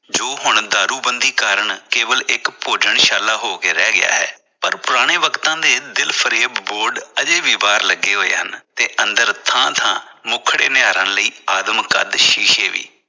ਜੋ ਹੁਣ ਦਾਰੂਬੰਦੀ ਕਾਰਨ ਕੇਵਲ ਇਕ ਭੋਜਨਸ਼ਾਲਾ ਹੋ ਕੇ ਰਹਿ ਗਿਆ ਹੈ ਪਰ ਪੁਰਾਣੇ ਵਕਤਾਂ ਦੇ ਦਿਲ ਫਰੇਬ ਬੋਰਡ ਅਜੇ ਵੀ ਬਾਹਰ ਲੱਗੇ ਹੋਏ ਹਨ ਤੇ ਅੰਦਰ ਥਾਂ ਥਾਂ ਮੁੱਖ ਨਿਹਾਰਨ ਲਈ ਆਦਮ ਕੱਦ ਸ਼ੀਸ਼ੇ ਵੀ।